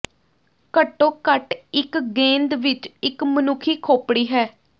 ਘੱਟੋ ਘੱਟ ਇੱਕ ਗੇਂਦ ਵਿੱਚ ਇੱਕ ਮਨੁੱਖੀ ਖੋਪੜੀ ਹੈ